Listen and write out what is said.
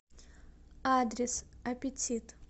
адрес аппетит